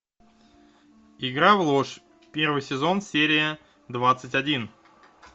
игра в ложь первый сезон серия двадцать один